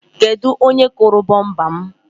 Kedụ onye kụrụ bumpa m?